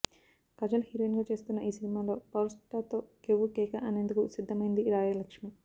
Kajal heroine గా చేస్తున్న ఈ సినిమాలో పవర్ స్టార్ తో కెవ్వు కేక అనేందుకు సిద్ధమైంది రాయ్ లక్ష్మి